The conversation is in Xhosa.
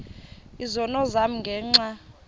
izono zam ngenxa